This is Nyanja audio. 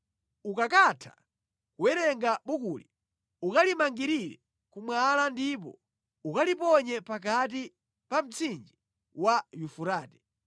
Ukakatha kuwerenga bukuli, ukalimangirire ku mwala ndipo ukaliponye pakati pa mtsinje wa Yufurate.